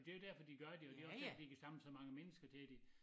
Det jo derfor de gør det og det også derfor de kan samle så mange mennesker siger de